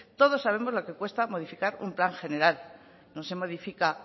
todos sabemos lo que cuesta modificar un plan general no se modifica